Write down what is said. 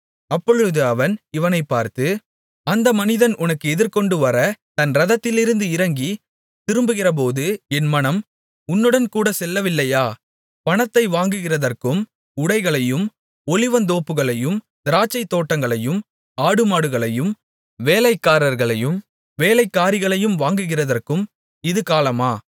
அப்பொழுது அவன் இவனைப்பார்த்து அந்த மனிதன் உனக்கு எதிர்கொண்டுவரத் தன் இரதத்திலிருந்து இறங்கித் திரும்புகிறபோது என் மனம் உன்னுடன்கூடச் செல்லவில்லையா பணத்தை வாங்குகிறதற்கும் உடைகளையும் ஒலிவத்தோப்புகளையும் திராட்சைத்தோட்டங்களையும் ஆடுமாடுகளையும் வேலைக்காரர்களையும் வேலைக்காரிகளையும் வாங்குகிறதற்கும் இது காலமா